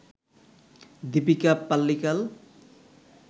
Deepika Pallikal